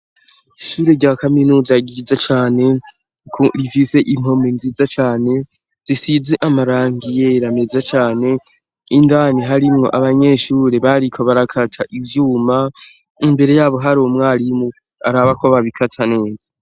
Ishure rya kaminuza giza cane ku rivise impomi nziza cane zisizi amaranga iyera meza cane indani harimwo abanyeshure bariko barakata ivyuma imbere yabo hari umwarimu arabako babikata neza.